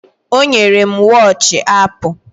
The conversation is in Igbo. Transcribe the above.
O nyere m wọochi Apụ